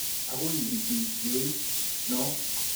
Akoi itui kiooit noo.